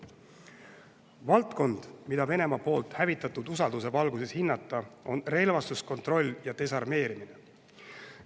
Valdkond, mida Venemaa poolt hävitatud usalduse valguses hinnata, on relvastuskontroll ja desarmeerimine.